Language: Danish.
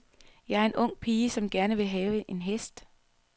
Jeg er en ung pige, som gerne vil have en hest.